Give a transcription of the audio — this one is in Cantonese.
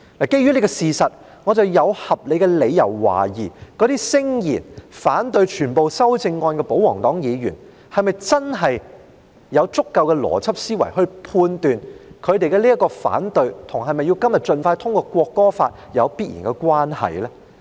基於這個事實，我有合理的理由懷疑，那些聲言反對全部修正案的保皇黨議員是否真的有足夠的邏輯思維來判斷，他們對修正案的反對，與是否今天要盡快通過《條例草案》有必然關係呢？